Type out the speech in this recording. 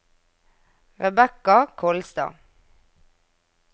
Rebecca Kolstad